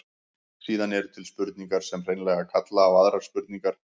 Síðan eru til spurningar sem hreinlega kalla á aðrar spurningar.